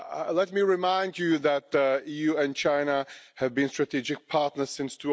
Let me remind you that the EU and China have been strategic partners since